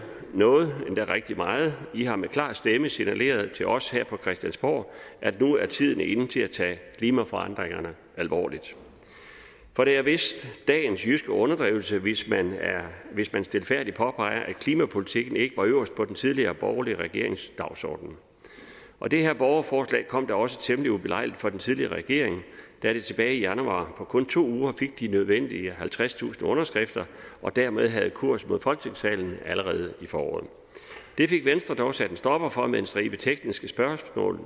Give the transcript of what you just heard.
noget endda rigtig meget i har med klar stemme signaleret til os her på christiansborg at nu er tiden inde til at tage klimaforandringerne alvorligt for det er vist dagens jyske underdrivelse hvis man stilfærdigt påpeger at klimapolitikken ikke var øverst på den tidligere borgerlige regerings dagsorden og det her borgerforslag kom da også temmelig ubelejligt for den tidligere regering da det tilbage i januar på kun to uger fik de nødvendige halvtredstusind underskrifter og dermed havde kurs mod folketingssalen allerede i foråret det fik venstre dog sat en stopper for med en stribe tekniske spørgsmål